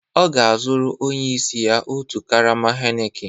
Ọ ga-azụrụ onye isi ya otu karama Heineken